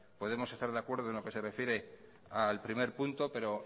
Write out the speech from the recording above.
podemos estar de acuerdo en lo que se refiere al primer punto pero